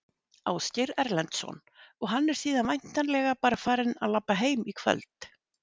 Ásgeir Erlendsson: Og hann er síðan væntanlega bara farinn að labba heim í kvöld?